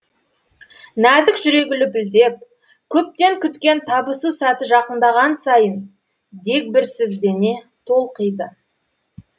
нәзік жүрегі лүпілдеп көптен күткен табысу сәті жақындаған сайын дегбірсіздене толқиды